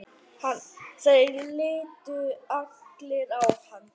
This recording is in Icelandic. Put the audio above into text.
Þeir litu allir á hann.